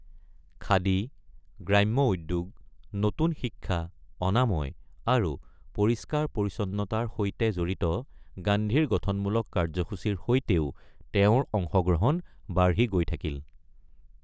খাদী, গ্ৰাম্য উদ্যোগ, নতুন শিক্ষা, অনাময় আৰু পৰিষ্কাৰ-পৰিচ্ছন্নতাৰ সৈতে জড়িত গান্ধীৰ গঠনমূলক কাৰ্যসূচীৰ সৈতেও তেওঁৰ অংশগ্ৰহণ বাঢ়ি গৈ থাকিল।